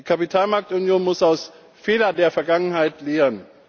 Die Kapitalmarktunion muss aus Fehlern der Vergangenheit lernen.